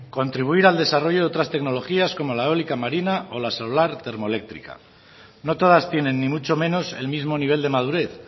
contribuir al desarrollo de otras tecnologías como la eólica marina o la solar termoeléctrica no todas tienen ni mucho menos el mismo nivel de madurez